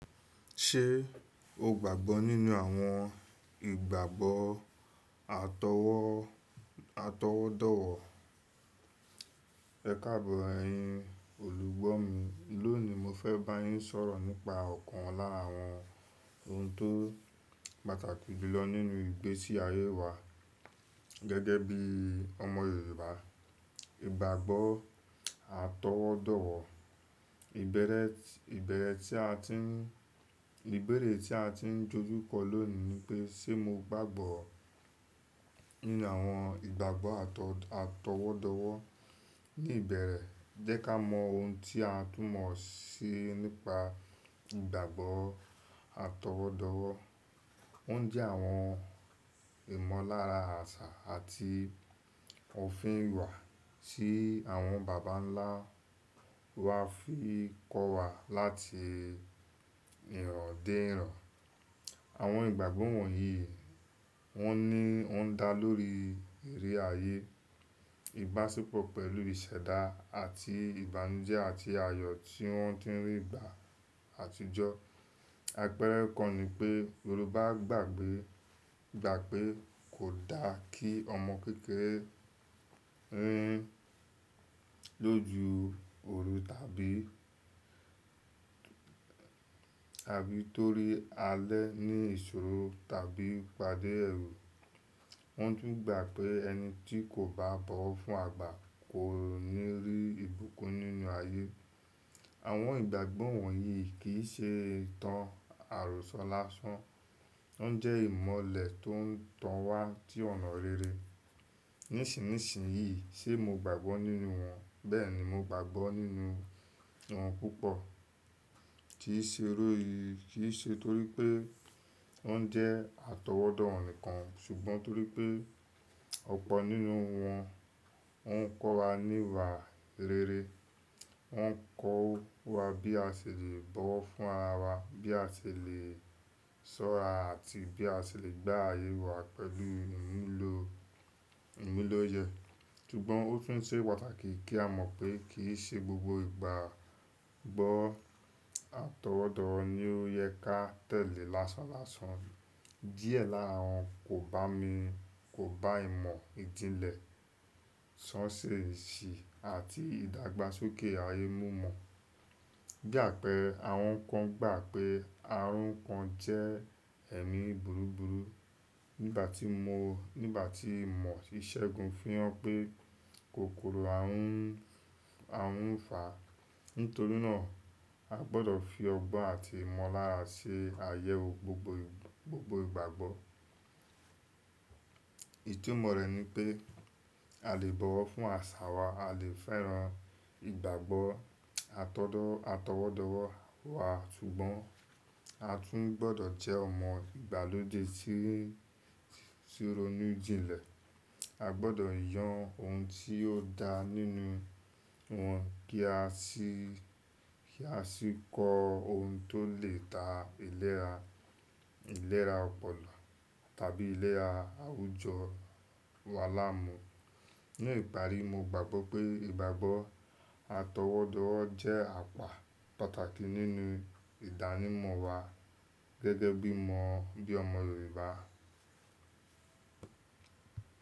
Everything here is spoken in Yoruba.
Ṣe o gbagbọ ninu awọn igbagbọ atọwọdọwọ? Ẹkaabọr ẹyin olugbo mi, loni mo fẹ ba yín sọ̀rọ̀ nipa ọkan lara àwọn ohun tó pàtàkì jùlọ nínú ìgbésí ayé wa gẹ́gẹ́ bí ọmọ Yorùbá, ìgbàgbọ́ atọwọ́dọ̀wọ̀. Ibẹrẹ tí a ti ń dojú kọ lónìí ni pé, ṣe mo gbagbọ nínú àwọn ìgbàgbọ́ atọwọ́dọ̀wọ̀? Ni ìbẹ̀rẹ̀, jẹ́ ká mọ ohun tí a tún mọ̀ síi nípa ìgbàgbọ́ atọwọ́dọ̀wọ̀. O jẹ àwọn ìmọ̀lára àṣà àti òfin ìwà tí àwọn bàbá ńlá wa fi kọ́ wa láti ìran dé ìran. Àwọn ìgbàgbọ́ wọ̀nyí wọn ní o ń dá lórí iri ayé, ìbáṣepọ̀ pẹ̀lú ìṣẹ̀dá àti ìbànújẹ́ àti àyọ̀ tí wọ́n ti ń rí gbà àtijọ́. Àpẹẹrẹ kan ni pé Yorùbá gbà pé kò dá kí ọmọ kékeré rìn lójú òru tàbí torí alẹ́ ní ìṣòro tàbí pade ẹrú. Wọ́n tún gbà pé ẹni tí kò bá bọ̀wọ̀ fún àgbà kò ní rí ìbùkún nínú ayé. Àwọn ìgbàgbọ́ wọ̀nyí kì í ṣe ìtàn àròsọ lásán. Wọ́n jẹ́ ìmọ̀lẹ̀ tó ń tàn wá sí ọnà rere. Nísinsìnyí, ṣe mo gbagbọ nínú wọn? Bẹ́ẹ̀ni, mo gbagbọ nínú wọn púpọ̀. Kì í ṣe eré yìí kì í ṣe torí pé wọ́n jẹ́ atọwọ́dọ̀wọ̀ nìkan, ṣùgbọ́n torí pé ọ̀pọ̀ nínú wọn ń kọ́ wa níwà rere. Wọn ń kọ́ wa bí a ṣe lè bọ̀wọ̀ fún ara wa, bí a ṣe lè ṣọ́ra àti bí a ṣe lè gba ayé wa pẹ̀lú ìmúlò ìyẹ́. Ṣùgbọ́n ó tún ṣe pàtàkì kí a mọ̀ pé kì í ṣe gbogbo ìgbàgbọ́ atọwọ́dọ̀wọ̀ ni ó yẹ ká tẹ̀lé lásán lásán. Diẹ nlá wọn kò bá ìmọ̀ ìjìnlẹ̀ ṣán ṣe ìṣì àti ìdàgbàsókè ayé mú mọ̀. Bí àpẹẹrẹ, àwọn kan gbà pé ààrùn kan jẹ́ ẹ̀mí burú burú nígbà tí imọ̀ íṣẹ́gun fihan pé kòkòrò ààrùn fa. Nítorí náà, a gbọdọ̀ fi ọgbọ́n àti ìmọ̀lára ṣe ayẹwo gbogbo ìgbàgbọ́. Ètumọ̀ rẹ̀ ni pé a lè bọ̀wọ̀ fún àṣà wa, a lè fẹ́ran ìgbàgbọ́ atọwọ́dọ̀wọ̀ wa, ṣùgbọ́n a tún gbọdọ̀ jẹ́ ọmọ ìgbàlódé tí rọnu ìjìnlẹ̀. A gbọdọ̀ yàn ohun tí ó dá nínú wọn kí a sì kọ ohun tó lè ta ìlera ọpọlọ tàbí ìlera àwùjọ wa láàmú. Ni ìparí, mo gbagbọ pé ìgbàgbọ́ atọwọ́dọ̀wọ̀ jẹ́ àpá pàtàkì nínú ìdánimọ̀ wa gẹ́gẹ́ bí ọmọ Yorùbá.